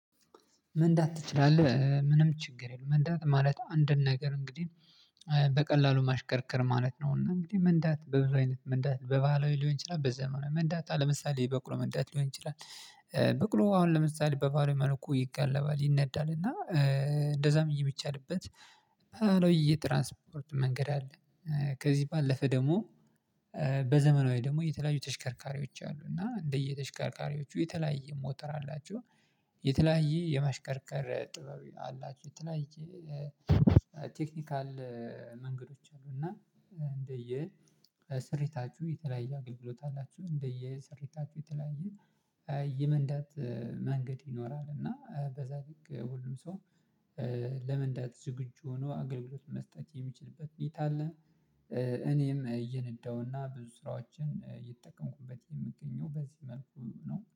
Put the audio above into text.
መንዳት ትችላለህ ምንም ችግር የለውም። መንዳት ማለት አንድን ነገር እንግዲህ በቀላሉ ማሽከርከር ማለት ነው። እና እንግዲህ መንዳት በብዙ አይነት መንዳት በባህላዊ ሊሆን ይችላል በዘመኑ መንዳት ለምሳሌ በቅሎ መንዳት ሊሆን ይችላል። በቅሎ አሁን ለምሳሌ በባህላዊ መልኩ ይጋለባል ይነዳል እና እንደዛም የሚቻልበት ባህላዊለ የትራንስፖርት መንገድ አለ። ከዚህ ባለፈ ደግሞ በዘመናዊ ደግሞ የተለያዩ ተሽከርካሪዎች አሉ እና እንደየተሽከርካሪዎቹ የተለያየ ሞተር አላቸው። የተለያየ የመሽከርከር ጥበብ አላችሁ የተለያየ ቴክኒካል መንገዶች አሉ። እና እንደየ ስሪታችሁ የተለያየ አገልግሎት አላችሁ እንደየ ስሪታችሁ የተለያየ የመንዳት መንገድ ይኖራል። እና በዛ ልክ ሁሉም ሰው ለመንዳት ዝግጁ ሆኖ አገልግሎት መስጠት የሚችልበት ሁኔታ አለ። እኔም እየነዳሁና ብዙ ስራዎችን የምገኘው በዚህ መልኩ ነው